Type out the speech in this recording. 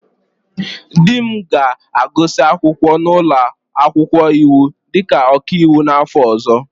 Di m ga-agụsị akwụkwọ n'ụlọ akwụkwọ iwu dịka ọkaiwu n'afọ ọzọ.